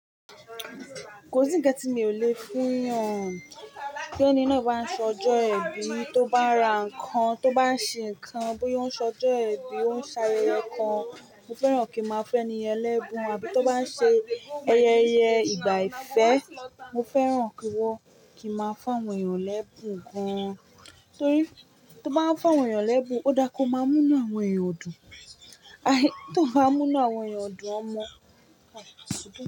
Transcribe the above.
Kò sí ń kan ti mi ò le fún yàn, tí ẹni náà bá ń sọ'jọ́ ibi, tó bá ra nǹkan, tó bá ṣe nǹkan, bóyá ó ń so'jọ́ ẹibi, ó ń ṣe ayẹyẹ kan, mo fẹ́ràn kí máa fún èniyen lẹ́bùn, àbí tó bá ń ṣe ayẹyẹ ìgbà ìfẹ́, mo fẹ́ràn kí wọn kí máa fún àwọn èèyàn lẹ́bùn gan-an. Torí tó bá ń fún àwọn èèyàn lẹ́bùn, ó dáa kó máa mú inú àwọn èèyàn dùn. Tó bá mú inú àwọn èèyàn dùn, wọ́n mọ̀. Ah, ṣùgbọ́n.